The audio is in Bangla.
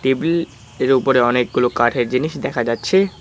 টেবিলএর উপরে অনেকগুলো কাঠের জিনিস দেখা যাচ্ছে।